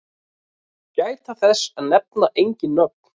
Gæta þess að nefna engin nöfn.